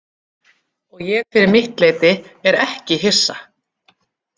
Og ég fyrir mitt leyti er ekki hissa.